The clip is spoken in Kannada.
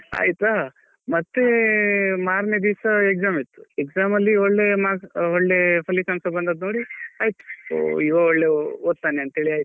ಆಯ್ತಾ ಮತ್ತೇ ಮಾರ್ನೆ ದಿವಸ exam ಇತ್ತು exam ಅಲ್ಲಿ ಒಳ್ಳೆಯ marks ಒಳ್ಳೆಯ ಫಲಿತಾಂಶ ಬಂದದ್ದು ನೋಡಿ ಇವ ಒಳ್ಳೆ ಓದ್ತಾನೆ ಅಂತ ಹೇಳಿ ಆಯ್ತು .